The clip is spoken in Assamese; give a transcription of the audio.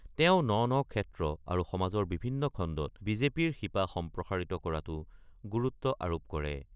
তেওঁ ন-ন ক্ষেত্ৰ আৰু সমাজৰ বিভিন্ন খণ্ডত বিজেপিৰ শিপা সম্প্ৰাসাৰিত কৰাটো গুৰুত্ব আৰোপ কৰে।